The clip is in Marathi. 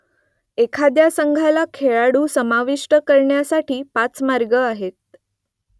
एखाद्या संघाला खेळाडू समाविष्ट करण्यासाठी पाच मार्ग आहेत